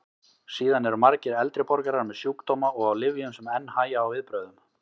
Síðan eru margir eldri borgarar með sjúkdóma og á lyfjum sem enn hægja á viðbrögðum.